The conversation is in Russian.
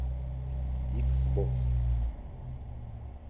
икс бокс